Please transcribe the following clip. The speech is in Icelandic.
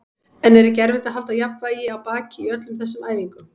En er ekki erfitt að halda jafnvægi á baki í öllum þessum æfingum?